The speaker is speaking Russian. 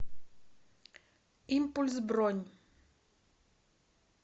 импульс бронь